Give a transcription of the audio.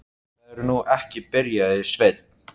Það er nú ekki. byrjaði Sveinn.